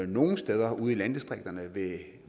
nogen steder ude i landdistrikterne det